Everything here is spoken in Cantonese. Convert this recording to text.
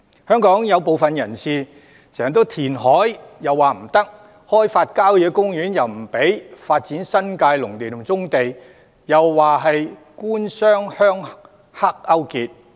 香港有部分人士反對填海，亦反對開發郊野公園，又說發展新界農地及棕地是"官商鄉黑"勾結。